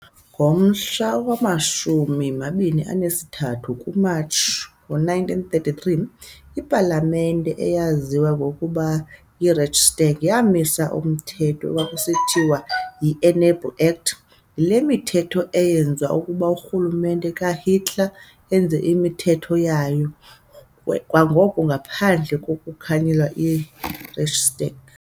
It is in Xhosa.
Ngomhla wama-23 kuMatshi ngo-1933, ipalamente, eyayiziwa ngokuba yi-Reichstag, yamisa umthetho ekwakusithiwa yi-"Enabling Act", yile mithetho eyenza okokuba urhulumente kaHitler enze imithetho yayo kwangoko ngaphandle kkokonganyelwa yi-Reichstag.